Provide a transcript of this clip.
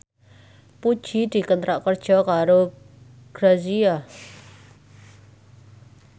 Puji dikontrak kerja karo Grazia